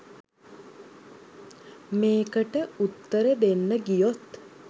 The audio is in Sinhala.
මේකට උත්තර දෙන්න ගියොත්